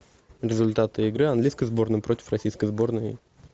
результаты игры английской сборной против российской сборной